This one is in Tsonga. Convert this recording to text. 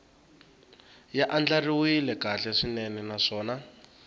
ya andlariwile kahle swinene naswona